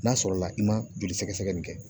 N'a sɔrɔ la i ma joli sɛgɛsɛgɛ nin kɛ